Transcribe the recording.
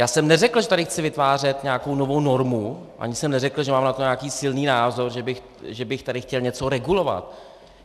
Já jsem neřekl, že tady chci vytvářet nějakou novou normu, ani jsem neřekl, že mám na to nějaký silný názor, že bych tady chtěl něco regulovat.